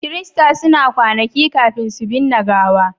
kirista suna kwanaki kafin su binne gawa